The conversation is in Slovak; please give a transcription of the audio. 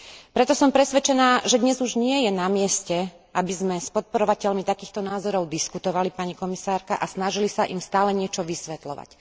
Preto som presvedčená, že dnes už nie je namieste, aby sme s podporovateľmi takýchto názorov diskutovali, pani komisárka, a snažili sa im stále niečo vysvetľovať.